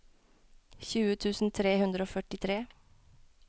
tjue tusen tre hundre og førtitre